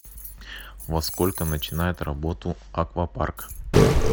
во сколько начинает работу аквапарк